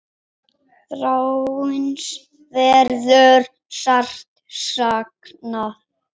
Þráins verður sárt saknað.